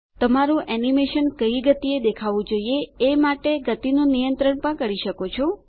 તમારું એનિમેશન કઈ ગતિએ દેખાવું જોઈએ એ માટે ગતિનું નિયંત્રણ પણ કરી શકો છો